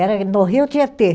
Era aí no Rio Tietê.